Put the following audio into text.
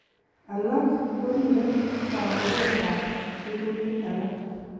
Alak korire kabukek ak rirutik alak.